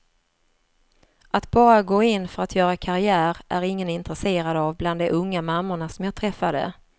Att bara gå in för att göra karriär är ingen intresserad av bland de unga mammorna som jag träffade.